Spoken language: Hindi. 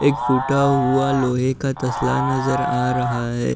एक फुटा हुआ लोहे का तसला नज़र आ रहा है।